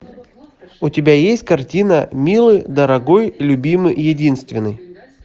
у тебя есть картина милый дорогой любимый единственный